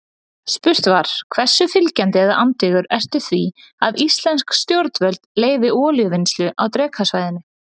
Spurt var: Hversu fylgjandi eða andvígur ertu því að íslensk stjórnvöld leyfi olíuvinnslu á Drekasvæðinu?